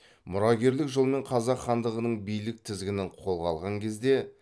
мұрагерлік жолмен қазақ хандығының билік тізгінін қолға алған кезде